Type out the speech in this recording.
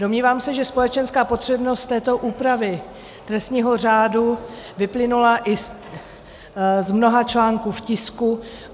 Domnívám se, že společenská potřebnost této úpravy trestního řádu vyplynula i z mnoha článků v tisku.